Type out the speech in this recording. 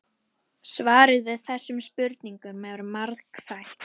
Svarið við þessum spurningum er margþætt.